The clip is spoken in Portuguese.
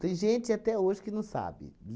Tem gente até hoje que não sabe.